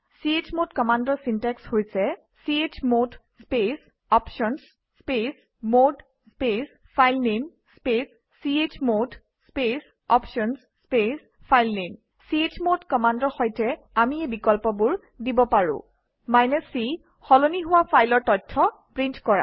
চমদ কমাণ্ডৰ চিনটেক্স হৈছে - চমদ স্পেচ options স্পেচ মদে স্পেচ ফাইলনামে স্পেচ চমদ স্পেচ options স্পেচ ফাইলনামে চমদ কমাণ্ডৰ সৈতে আমি এই বিকল্পবোৰ দিব পাৰোঁ - c160 সলনি হোৱা ফাইলৰ তথ্য প্ৰিণ্ট কৰা